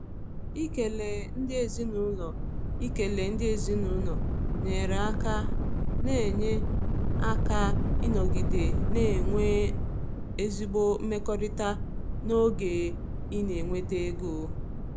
Ikele ndị ezinụlọ Ikele ndị ezinụlọ nyere aka na-enye aka ịnọgide na-enwe ezigbo mmekọrịta n’oge ị na-enweta ego.